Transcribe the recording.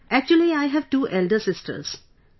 Actually I have two elder sisters, sir